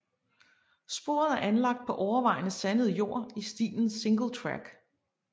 Sporet er anlagt på overvejende sandet jord i stilen Singletrack